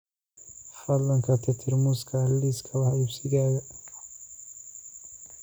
fadlan ka tirtir muuska liiska wax iibsigayga